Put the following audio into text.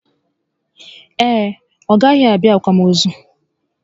Ee, ọ gaghị abịa akwamozu